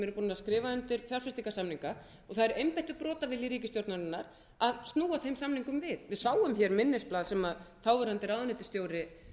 búnir að skrifa undir fjárfestingarsamninga og það er einbeittur brotavilji ríkisstjórnarinnar að snúa þeim samningum við við sáum hér minnisblað sem þáverandi ráðuneytisstjóri